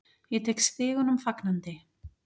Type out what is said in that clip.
Ég tek stigunum fagnandi.